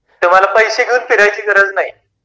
तुम्हाला पैसे घेऊन फिरायची गरज नाही